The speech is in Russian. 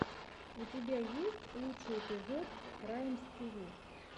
у тебя есть лучший эпизод раймстиви